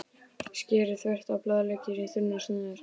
Skerið þvert á blaðlauk í þunnar sneiðar.